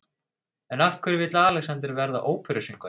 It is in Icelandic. En af hverju vill Alexander verða óperusöngvari?